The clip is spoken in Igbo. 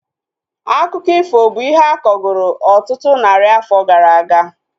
Akụkọ ifo bụ ihe akọgoro ọtụtụ narị afọ gara aga